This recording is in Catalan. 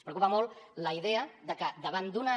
ens preocupa molt la idea que davant d’una